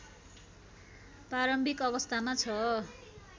प्रारम्भिक अवस्थामा छ